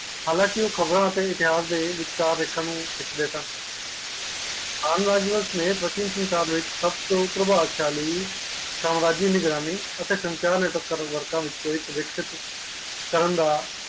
ਹਾਲ ਕਿ ਓ ਖ਼ਬਰਆ ਦੇ ਵਿਚਕਾਰ ਵੇਖਣ ਨੂੰ ਖਿੱਚਦੇ ਸਨ ਆਮ ਰਾਜਵੰਸ਼ ਨੈ ਪ੍ਰਤੀ ਪਾਵ ਵਿਚ ਸਬ ਤੋਂ ਪ੍ਰਭਾਵ ਸ਼ੈਲੀ ਸਮਾਜਯਾ ਨਿਗਰਾਨੀ ਅਤੇ ਸੰਚਾਲ ਕਰਨ ਵਰਤ ਵਿੱਚੋ ਇਕ ਹੈ